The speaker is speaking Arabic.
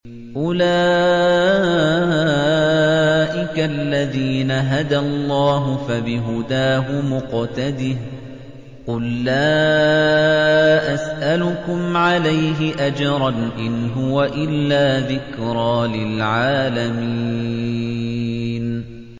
أُولَٰئِكَ الَّذِينَ هَدَى اللَّهُ ۖ فَبِهُدَاهُمُ اقْتَدِهْ ۗ قُل لَّا أَسْأَلُكُمْ عَلَيْهِ أَجْرًا ۖ إِنْ هُوَ إِلَّا ذِكْرَىٰ لِلْعَالَمِينَ